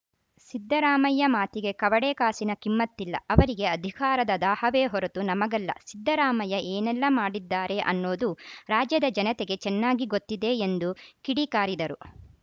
ಸಿದ್ದರಾಮಯ್ಯ ಮಾತಿಗೆ ಕವಡೆ ಕಾಸಿನ ಕಿಮ್ಮತ್ತಿಲ್ಲ ಅವರಿಗೆ ಅಧಿಕಾರದ ದಾಹವೇ ಹೊರತು ನಮಗಲ್ಲ ಸಿದ್ದರಾಮಯ್ಯ ಏನೆಲ್ಲ ಮಾಡಿದ್ದಾರೆ ಅನ್ನೋದು ರಾಜ್ಯದ ಜನತೆಗೆ ಚೆನ್ನಾಗಿ ಗೊತ್ತಿದೆ ಎಂದು ಕಿಡಿಕಾರಿದರು